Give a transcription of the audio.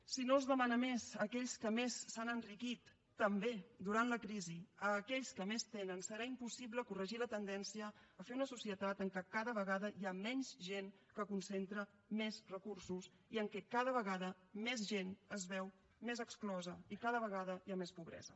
si no es demana més a aquells que més s’han enriquit també durant la crisi a aquells que més tenen serà impossible corregir la tendència a fer una societat en què cada vegada hi ha menys gent que concentra més recursos i en què cada vegada més gent es veu més exclosa i cada vegada hi ha més pobresa